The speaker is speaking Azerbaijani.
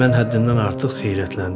Mən həddindən artıq heyrətləndim.